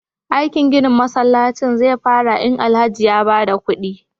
aikin ginin masallacin zefara in Alhaji ya bada kudi